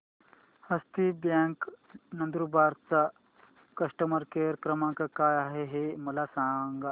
हस्ती bank Nandurbar चा customer care क्रमांक काय आहे हे मला सांगा